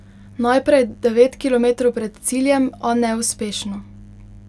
Najprej devet kilometrov pred ciljem, a neuspešno.